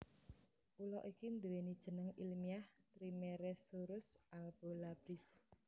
Ula iki nduwèni jeneng ilmiah Trimeresurus albolabris